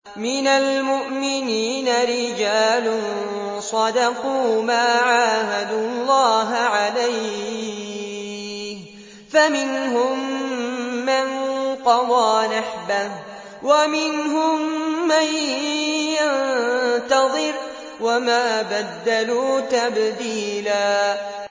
مِّنَ الْمُؤْمِنِينَ رِجَالٌ صَدَقُوا مَا عَاهَدُوا اللَّهَ عَلَيْهِ ۖ فَمِنْهُم مَّن قَضَىٰ نَحْبَهُ وَمِنْهُم مَّن يَنتَظِرُ ۖ وَمَا بَدَّلُوا تَبْدِيلًا